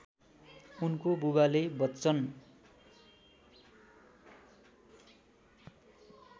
उनको बुबाले बच्चन